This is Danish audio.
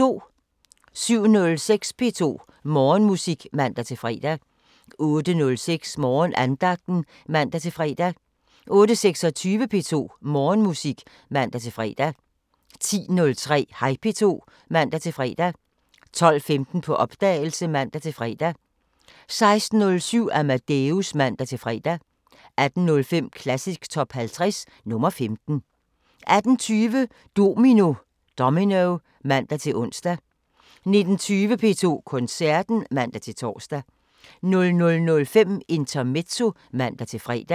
07:06: P2 Morgenmusik (man-fre) 08:06: Morgenandagten (man-fre) 08:26: P2 Morgenmusik (man-fre) 10:03: Hej P2 (man-fre) 12:15: På opdagelse (man-fre) 16:07: Amadeus (man-fre) 18:05: Klassisk Top 50 – nr. 15 18:20: Domino (man-ons) 19:20: P2 Koncerten (man-tor) 00:05: Intermezzo (man-fre)